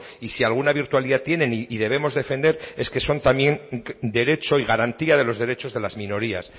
y si alguna virtualidad tienen y debemos defender es que son también derecho y garantía de los derechos de las minorías